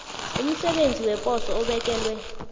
umsebenzi weposo obekelwe